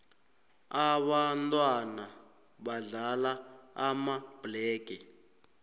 ababntwana badlala amabhlege